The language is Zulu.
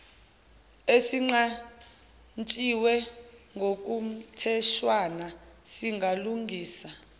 esinqantshiwe ngokomtheshwana singalungisa